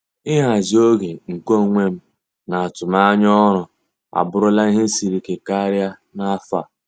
Ịhazi oge nke onwe m na atụmanya ọrụ abụrụla ihe siri ike karịa n'afọ a.